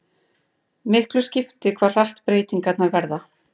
Miklu skiptir hve hratt breytingar verða.